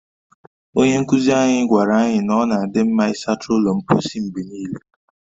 Onye nkuzi anyị gwaara anyị na ọ na adị mma ịsacha ụlọ mposi mgbe niile